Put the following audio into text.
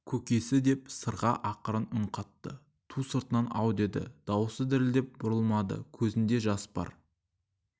көкесі деп сырға ақырын үн қатты ту сыртынан ау деді дауысы дірілдеп бұрылмады көзінде жас бар